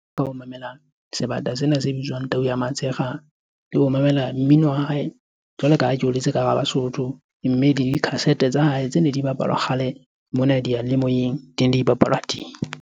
Mamela sebata sena se bitswang tau ya matshekga le ho mamela mmino wa hae jwalo ka ha ke holetse ka hara Basotho. Mme dikhasete tsa hae tsene di bapalwa kgale mona diyalemoyeng di ne di bapalwa teng.